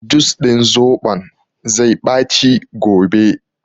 Jus din zoɓon zai ɓaci gobe